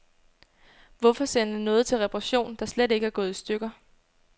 Hvorfor sende noget til reparation, der slet ikke er gået i stykker.